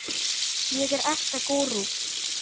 ég er ekta gúrú.